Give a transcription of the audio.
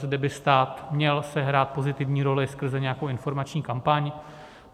Zde by stát měl sehrát pozitivní roli skrze nějakou informační kampaň.